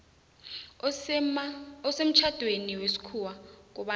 osemtjhadweni wesikhuwa kobana